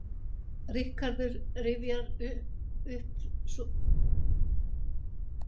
Ríkharður rifjaði svo upp mörkin sín fjögur og upplifunina í kringum leikinn með Hemma Gunn.